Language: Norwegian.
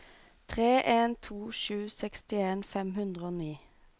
tre en to sju sekstien fem hundre og ni